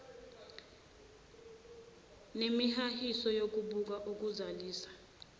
nemihahiso yokubutha ukuzalisa